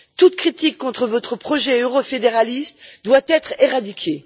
Toute critique contre votre projet eurofédéraliste doit être éradiquée.